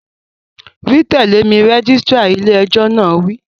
Wí tẹ̀lé mi, rẹ́gísírà ilé ẹjọ́ náà wí